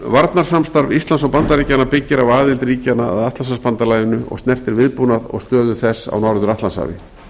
varnarsamstarf íslands og bandaríkjanna byggir á aðild ríkjanna að atlantshafsbandalaginu og snertir viðbúnað og stöðu þess á norður atlantshafi